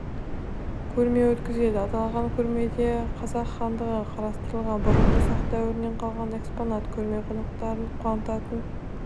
көрме өткізеді аталған көрмеде қазақ хандығы қрылмастан бұрынғы сақ дәуірінен қалған экспонат көрме қонақтарын қуантатын